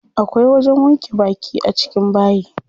Akwai wajen wanke baki a cikin bayi.